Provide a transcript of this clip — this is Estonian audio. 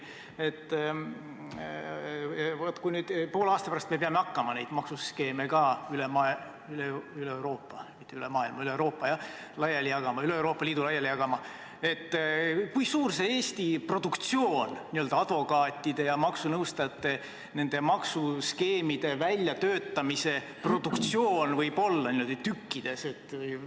Kui me poole aasta pärast peame hakkama neid maksuskeeme üle Euroopa, mitte üle maailma, vaid üle Euroopa Liidu laiali jagama, siis kui suur see Eesti produktsioon, n-ö advokaatide ja maksunõustajate produktsioon nende maksuskeemide väljatöötamisel võib olla, niimoodi tükkides?